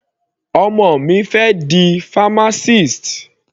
Ọmọ mi fẹ́ di pharmacist.